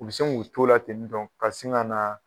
U bɛ se kun tola ten tɔ ka sin ka na.